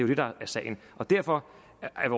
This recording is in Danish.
det der er sagen og derfor er